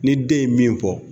Ni den ye min fɔ